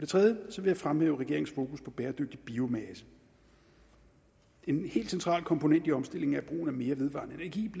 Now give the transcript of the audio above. tredje vil jeg fremhæve regeringens fokus på bæredygtig biomasse en helt central komponent i omstillingen af mere vedvarende energi